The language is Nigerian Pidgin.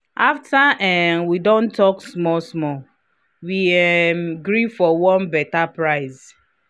after um we don talk small-small we um gree for one better price. um